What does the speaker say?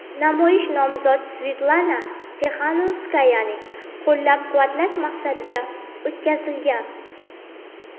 Namoyish nomzod Svetlana Tixanovskayani qo‘llab-quvvatlash maqsadida o‘tkazilgan.